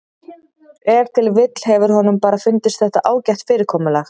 Ef til vill hefur honum bara fundist þetta ágætt fyrirkomulag.